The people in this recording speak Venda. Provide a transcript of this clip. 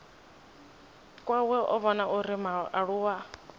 kwawe a vhona uri mualuwa